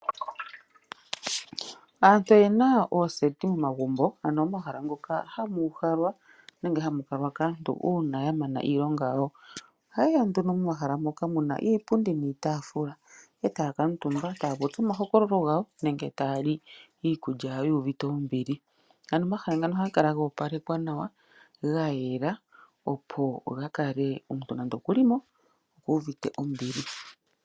Aantu oyena ooseti momagumbo ano omahala ngoka hamu uhalwa nenge hamukalwa kaantu uuna yamana iilonga yawo. Ohayeya nduno momahala moka muna iipundi niitaafula etaya kaantumba taya popi omahokololo gawo nenge taya li iikulya yawo yuuvite oombili. Ano omahala ngano ohaga kala goopalekwa nawa ano gayela, opo gakale nande omuntu okulimo okuuvite ombili.